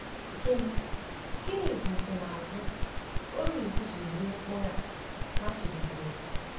Gịnị Gịnị bụ nsonaazụ Orívu jiri rie mkpụrụ a machibidoro?